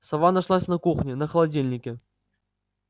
сова нашлась на кухне на холодильнике